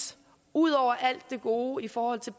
ud over alt det gode i forhold til